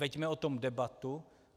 Veďme o tom debatu.